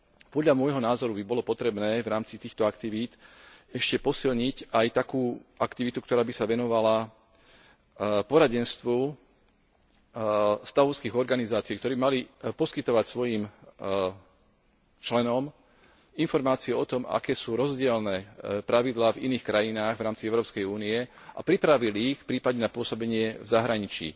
Podľa môjho názoru by bolo potrebné v rámci týchto aktivít ešte posilniť aj takú aktivitu, ktorá by sa venovala poradenstvu stavovských organizácií, ktoré by mali poskytovať svojim členom informácie o tom, aké sú rozdielne pravidlá v iných krajinách v rámci Európskej únie, a pripravili ich prípadne na pôsobenie v zahraničí.